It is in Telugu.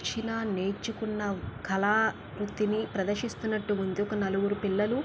చిన్నా నేర్చుకున్న కళా వృత్తిని ప్రదర్శిస్తున్నటు ఉంది. ఒక నలుగురు పిల్లలు--